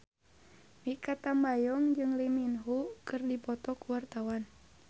Mikha Tambayong jeung Lee Min Ho keur dipoto ku wartawan